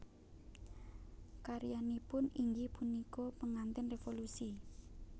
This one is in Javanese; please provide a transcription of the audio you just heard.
Karyanipun inggih punika Pengantin Revolusi